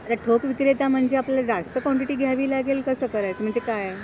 आता ठोक विक्रेता म्हणजे आपल्या जास्त क्वांटिटी घ्यावी लागेल कसं करायचं म्हणजे काय